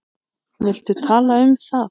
Viltu tala um það?